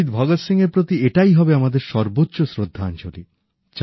শহীদ ভগৎ সিংয়ের প্রতি এটাই হবে আমাদের সর্বোচ্চ শ্রদ্ধাঞ্জলি